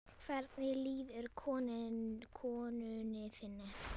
Hvernig líður konu þinni?